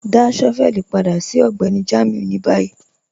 Dá shọ́vẹ̀lì padà sí Ọgbẹ́ni Jamiu ni bayí.